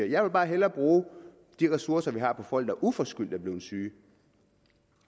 jeg vil bare hellere bruge de ressourcer vi har på folk der uforskyldt er blevet syge